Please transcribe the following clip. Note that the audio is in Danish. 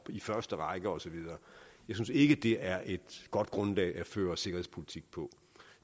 i første række og så videre jeg synes ikke det er et godt grundlag at føre sikkerhedspolitik på